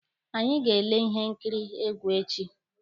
Anyị ga-ele ihe nkiri egwu echi.